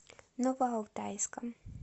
новоалтайском